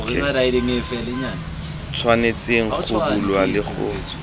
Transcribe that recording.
tshwanetseng go bulwa le go